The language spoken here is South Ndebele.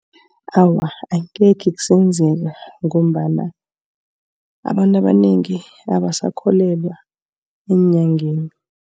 Awa angekhe kusenzeka ngombana abantu abanengi abasakholelwa eenyangeni.